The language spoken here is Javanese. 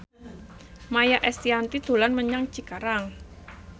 Maia Estianty dolan menyang Cikarang